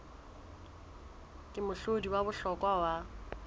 ke mohlodi wa bohlokwa wa